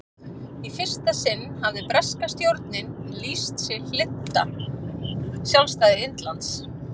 í fyrsta sinn hafði breska stjórnin lýst sig hlynnta sjálfstæði indlands